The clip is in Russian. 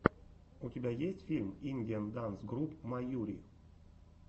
у тебя есть фильм индиан данс груп майури